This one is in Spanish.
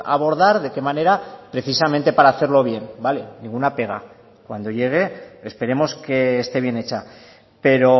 abordar de qué manera precisamente para hacerlo bien vale ninguna pega cuando llegue esperemos que esté bien hecha pero